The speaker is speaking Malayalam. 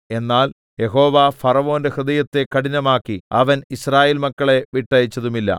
എന്നാൽ യഹോവ ഫറവോന്റെ ഹൃദയത്തെ കഠിനമാക്കി അവൻ യിസ്രായേൽ മക്കളെ വിട്ടയച്ചതുമില്ല